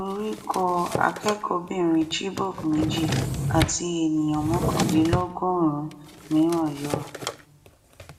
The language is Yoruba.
orí kọ akẹkọọbìnrin chibok méjì àti ènìyàn mọkàndínlọgọrùn-ún mìíràn yọ